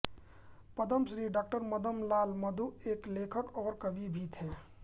पद्म श्री डॉ मदनलाल मधु एक लेखक और कवि भी थे